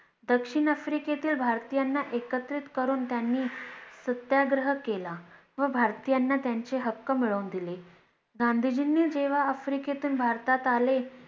दक्षिण आफ्रिकेतील भारतीयांना एकत्रित करून त्यांनी सत्याग्रह केला व भारतीयांना त्यांचे हक्क मिळवून दिले गांधीजींनी जेव्हा आफ्रिकेतून भारतात आले